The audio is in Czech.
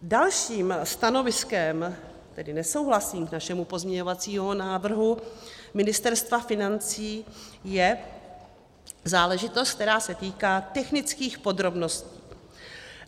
Dalším stanoviskem, tedy nesouhlasným, k našemu pozměňovacímu návrhu Ministerstva financí je záležitost, která se týká technických podrobností.